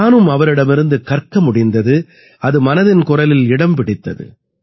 நானும் அவரிடமிருந்து கற்க முடிந்தது அது மனதின் குரலில் இடம் பிடித்தது